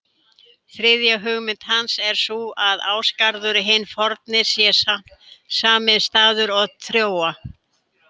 Þriðja hugmynd hans er sú að Ásgarður hinn forni sé sami staður og Trója.